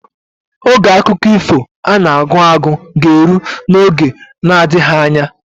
Oge akụkọ iho ana agụ agụ ga elu na oge na adigha anya